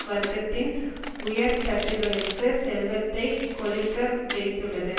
வர்க்கத்தின் உயர்தட்டுக்களுக்கு செல்வத்தை கொழிக்க வைத்துள்ளது